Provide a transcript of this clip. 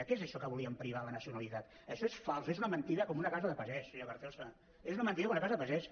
què és això que volíem privar la nacionalitat això és fals és una mentida com una casa de pagès senyor carrizosa és una mentida com una casa de pagès